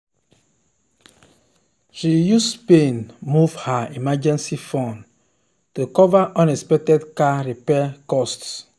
she use pain move her emergency fund to cover unexpected car repair costs.